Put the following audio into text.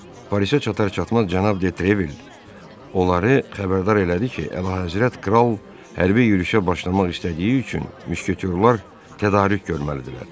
Parisə çatar-çatmaz cənab de Trevil onları xəbərdar elədi ki, Əlahəzrət kral hərbi yürüyüşə başlamaq istədiyi üçün müşketyorlar tədarük görməlidirlər.